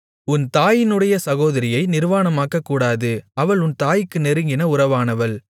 உன் தாயினுடைய சகோதரியை நிர்வாணமாக்கக்கூடாது அவள் உன் தாய்க்கு நெருங்கின உறவானவள்